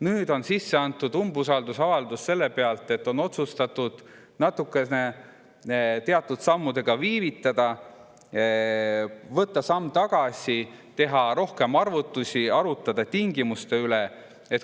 Nüüd on sisse antud umbusaldusavaldus seetõttu, et on otsustatud teatud sammudega natuke viivitada, võtta samm tagasi, teha rohkem arvutusi, arutada tingimuste üle.